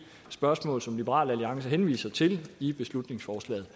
spørgsmål som liberal alliance henviser til i beslutningsforslaget